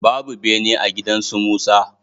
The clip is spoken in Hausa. Babu bene a gidan su Musa.